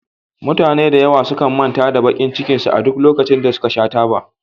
Mutane da yawa sukan manta da bakin cikin su a duk lokacin da suka sha taba